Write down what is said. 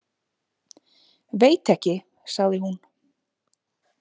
Veit ekki, sagði hún.